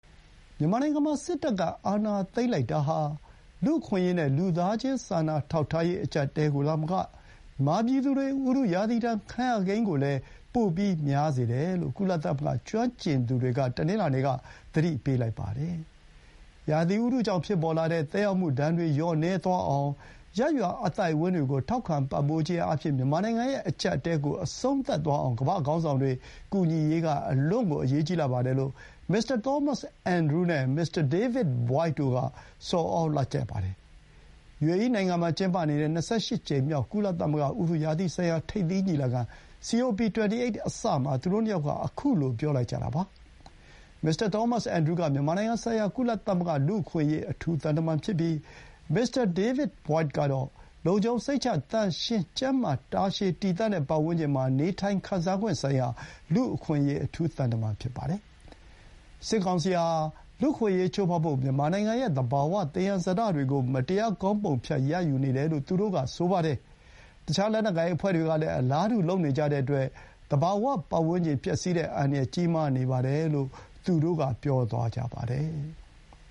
မြန်မာနိုင်ငံမှာ စစ်တပ်ကအာဏာသိမ်းလိုက်တာဟာ လူ့အခွင့်အရေးနဲ့ လူသားချင်စာနာထောက်ထားရေး အကြပ်အတည်းကိုသာမက မြန်မာပြည်သူတွေ ဥတုရာသီဒဏ် ခံရကိန်းကိုလည်း ပိုပြီးများစေတယ်လို့ ကုလသမဂ္ဂ ကျွမ်းကျင်သူတွေက တနင်္လာနေ့က သတိပေးလိုက်ပါတယ်။ ရာသီဥတုကြောင့်ဖြစ်ပေါ်လာတဲ့ သက်ရောက်မှုဒဏ်တွေ လျော့နည်းသွားအောင် ရပ်ရွာအသိုက်အဝန်းတွေ ကို ထောက်ခံပံ့ပိုးခြင်းအားဖြင့် မြန်မာနိုင်ငံရဲ့အကြပ်အတည်းကို အဆုံးသတ်သွားအောင် ကမ္ဘာ့ခေါင်းဆောင်တွေကူညီရေးက အလွန့်ကို အရေးကြီးလှပါတယ်လို့ မစ္စတာ သောမတ်စ် အင်န်ဒရူး (Thomas Andrews) နဲ့ မစ္စတာ ဒေးဗစ် ဘွိုက်ဒ် (David Boyd) တို့ က ဆော်သြလိုက်ပါတယ်။ ယူအေအီးနိုင်ငံမှာကျင်းပနေတဲ့ ၂၈ ကြိမ်မြောက် ကုလသမဂ္ဂဥတုရာသီဆိုင်ရာ ထိပ်သီးညီလာခံ COP 28 အစမှာ သူတို့ ၂ ယောက်က ခုလို ပြောလိုက်ကြတာပါ။ မစ္စတာသောမတ်စ် အင်န်ဒရူးက မြန်မာနိုင်ငံဆိုင်ရာ ကုလသမဂ္ဂ လူ့အခွင့်အရေး အထူးသံတမန်ဖြစ်ပြီး မစ္စတာ ဒေးဗစ်ဘွိုက်ဒ်ကတော့ လုံခြုံစိတ်ချ, သန့်ရှင်း ကျန်းမာ တာရှည်တည်တံ့တဲ့ ပတ်ဝန်းကျင်မှာ နေထိုင်ခံစားခွင့်ဆိုင်ရာ လူ့အခွင့်အရေး အထူးသံတမန် ဖြစ်ပါတယ်။ စစ်ကောင်စီဟာ လူ့အခွင့်အရေးချိုးဖောက်ဖို့ မြန်မာနိုင်ငံရဲ့ သဘာဝသယံဇာတတွေကို မတရား ခေါင်းပုံဖြတ်ရယူနေတယ်လို့ သူတို့က ဆိုပါတယ်။ တခြားလက်နက်ကိုင်အဖွဲ့တွေကလည်း အလားတူ လုပ်နေကြတဲ့အတွက် သဘာဝပတ်ဝန်းကျင် ပျက်စီးတဲ့အန္တရာယ် ကြီးမားနေပါတယ်လို့ သူတို့က ပြောသွားကြပါတယ်။